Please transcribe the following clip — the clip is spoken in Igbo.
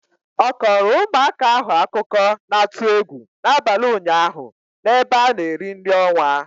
Ọ kọrọ ụmụaka ahụ akụkọ na-atụ egwu n'abalị ụnyaahụ n'ebe a na-eri nri ọnwa.